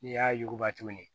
N'i y'a yuguba tuguni